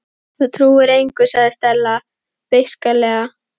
Þú trúir engu sagði Stella beisklega.